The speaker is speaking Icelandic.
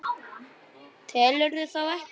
Telurðu þá ekki?